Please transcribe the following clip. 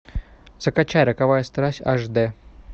закачай роковая страсть аш д